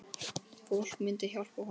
Fólk myndi hjálpa honum.